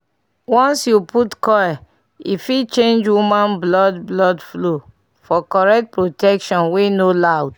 once you put coil e fit change woman blood blood flow - for correct protection wey no loud.